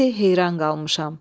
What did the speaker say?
İndi heyran qalmışam.